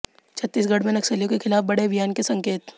छत्तीसगढ़ में नक्सलियों के खिलाफ बड़े अभियान के संकेत